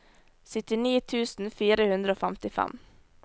syttini tusen fire hundre og femtifem